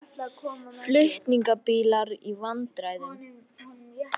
Flutningabílar í vandræðum